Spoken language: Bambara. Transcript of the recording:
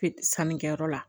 Sannikɛyɔrɔ la